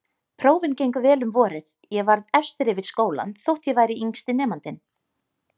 Prófin gengu vel um vorið, ég varð efstur yfir skólann þótt ég væri yngsti nemandinn.